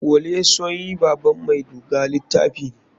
Wole soyin baban mai duga litafi ne.